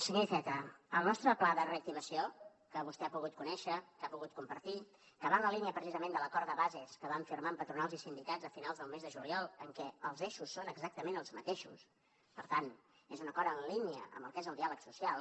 senyor iceta el nostre pla de reactivació que vostè ha pogut conèixer que ha pogut compartir que va en la línia precisament de l’acord de bases que vam firmar amb patronals i sindicats a finals del mes de juliol en què els eixos són exactament els mateixos per tant és un acord en línia amb el que és el diàleg social